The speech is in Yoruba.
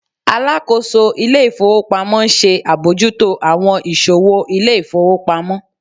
Alákóso ilé ifowópamọ́ n ṣe abojuto awọn iṣowo ilé ifowópamọ́